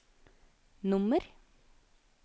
nummer